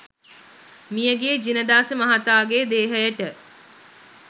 මියගිය ජිනදාස මහතාගේ දේහයට